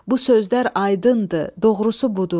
Bu sözlər aydındır, doğrusu budur.